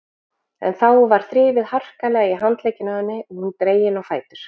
En þá var þrifið harkalega í handlegginn á henni og hún dregin á fætur.